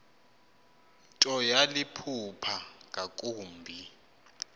nto yaliphupha ngakumbi